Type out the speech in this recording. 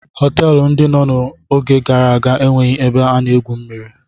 Họtelụ ndị no n'oge gara aga enweghị ebe a na-egwu mmiri.